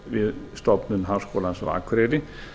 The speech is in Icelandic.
við stofnun háskólans á akureyri